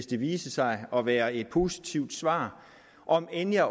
det viser sig at være et positivt svar om end jeg